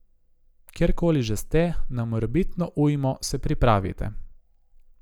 Kjer koli že ste, na morebitno ujmo se pripravite.